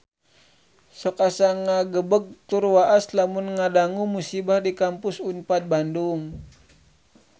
Sok asa ngagebeg tur waas lamun ngadangu musibah di Kampus Unpad Bandung